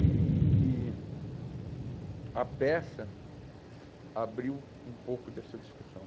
E e e e a peça abriu um pouco dessa discussão.